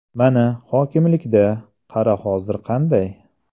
Mana, hokimlikda, qara hozir qanday?